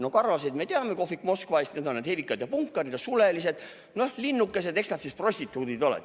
No karvaseid, me teame kohvik Moskva eest, need on need hevikad ja punkarid, ja sulelised, noh, linnukesed, eks nad prostituudid ole.